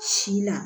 Si la